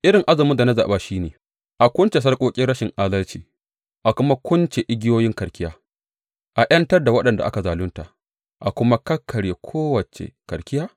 Irin azumin da na zaɓa shi ne, a kunce sarƙoƙin rashin adalci a kuma kunce igiyoyin karkiya, a ’yantar da waɗanda ake zalunta a kuma kakkarye kowace karkiya?